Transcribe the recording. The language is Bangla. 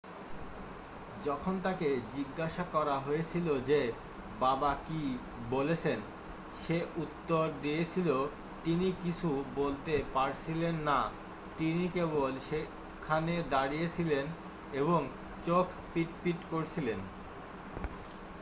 "যখন তাঁকে জিজ্ঞাসা করা হয়েছিল যে বাবা কী বলেছেন, সে উত্তর দিয়েছিল "তিনি কিছু বলতে পারছিলেন না - তিনি কেবল সেখানে দাঁড়িয়েছিলেন এবং চোখ পিট পিট করছিলেন।""